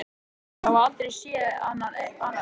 Þeir höfðu aldrei séð annað eins.